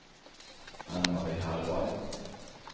Ann-Marie Hallberg